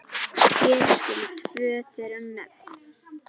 Hér skulu tvö þeirra nefnd.